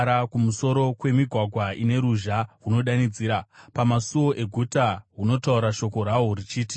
kumusoro kwemigwagwa ine ruzha hunodanidzira, pamasuo eguta hunotaura shoko rahwo huchiti: